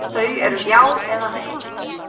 Þau eru já eða nei.